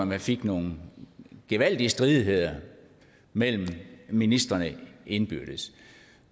man fik nogle gevaldige stridigheder mellem ministrene indbyrdes